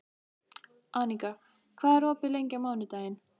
Aníka, hvað er opið lengi á mánudaginn?